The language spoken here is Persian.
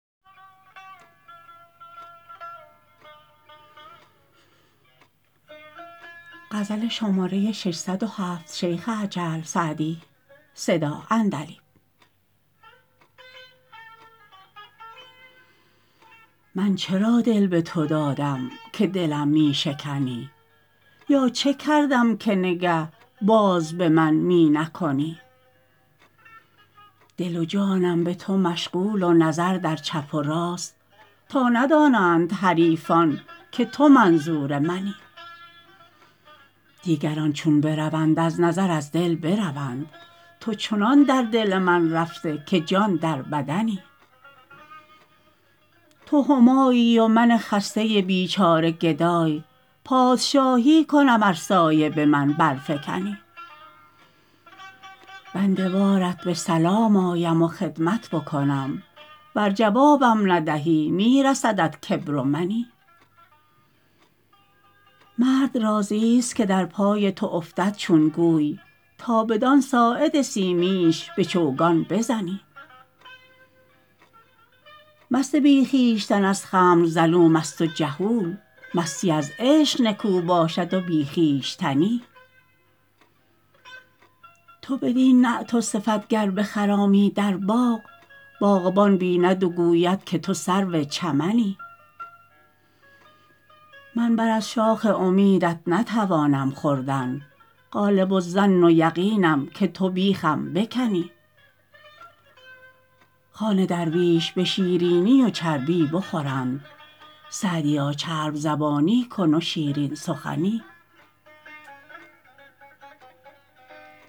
من چرا دل به تو دادم که دلم می شکنی یا چه کردم که نگه باز به من می نکنی دل و جانم به تو مشغول و نظر در چپ و راست تا ندانند حریفان که تو منظور منی دیگران چون بروند از نظر از دل بروند تو چنان در دل من رفته که جان در بدنی تو همایی و من خسته بیچاره گدای پادشاهی کنم ار سایه به من برفکنی بنده وارت به سلام آیم و خدمت بکنم ور جوابم ندهی می رسدت کبر و منی مرد راضیست که در پای تو افتد چون گوی تا بدان ساعد سیمینش به چوگان بزنی مست بی خویشتن از خمر ظلوم است و جهول مستی از عشق نکو باشد و بی خویشتنی تو بدین نعت و صفت گر بخرامی در باغ باغبان بیند و گوید که تو سرو چمنی من بر از شاخ امیدت نتوانم خوردن غالب الظن و یقینم که تو بیخم بکنی خوان درویش به شیرینی و چربی بخورند سعدیا چرب زبانی کن و شیرین سخنی